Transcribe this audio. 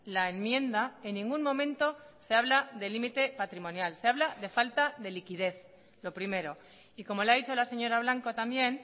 la enmienda en ningún momento se habla de límite patrimonial se habla de falta de liquidez lo primero y como le ha dicho la señora blanco también